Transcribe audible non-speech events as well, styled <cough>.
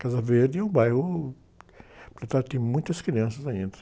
Casa Verde é um bairro que, <unintelligible> tem muitas crianças ainda.